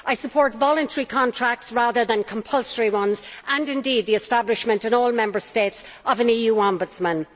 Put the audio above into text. I support voluntary contracts rather than compulsory ones, and the establishment in all Member States of an EU ombudsman.